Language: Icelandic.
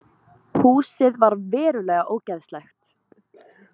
Húsið var verulega ógeðslegt